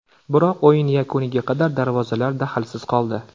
Biroq o‘yin yakuniga qadar darvozalar dahlsiz qoldi.